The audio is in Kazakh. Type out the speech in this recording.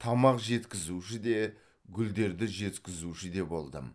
тамақ жеткізуші де гүлдерді жеткізуші де болдым